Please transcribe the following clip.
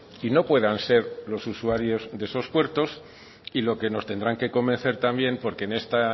y no puedan ser los usuarios de esos puertos y lo que nos tendrán que convencer también porque en esta